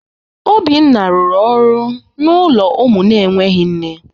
Obinna rụrụ ọrụ n’ụlọ ụmụ na-enweghị nne.